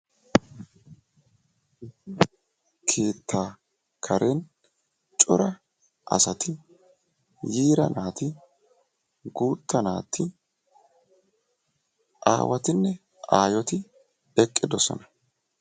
Keetta karen coraa asati, yiira naati, guutta naati, aawatinne aayyoti eqqidoosona.